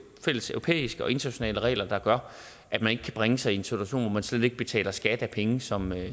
fælles europæiske og internationale regler der gør at man ikke kan bringe sig i en situation hvor man slet ikke betaler skat af penge som man